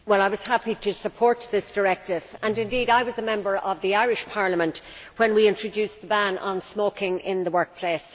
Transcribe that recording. Mr President, I was happy to support this Directive, and indeed I was a member of the Irish Parliament when we introduced the ban on smoking in the workplace.